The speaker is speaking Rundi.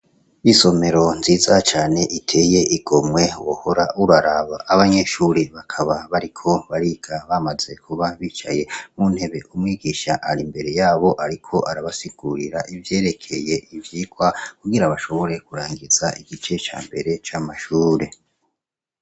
Isomero nziza cane iteye igomwe wohora ururaba abanyeshure bakaba bamaze kuba bicaye muntebe umwigisha ar'imbere yabo ariko arabasigurira ivyerekeye ivyigwa kugira bashobore kurangura igice cambere c'amashure .